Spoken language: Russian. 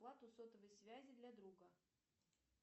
плату сотовой связи для друга